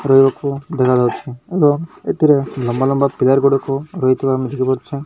ଦେଖାଯାଉଚି ଏବଂ ଏଥିରେ ଲମ୍ବା ଲମ୍ବା ପ୍ଲେୟାର ଗୁଡାକୁ ରହିଥିବା ଅଛି।